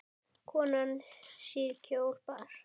Konan síðkjól bar.